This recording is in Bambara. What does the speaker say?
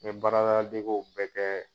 N baaradala degew bɛɛ kɛ.